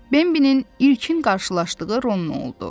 Bembilin ilkin qarşılaşdığı Ronno oldu.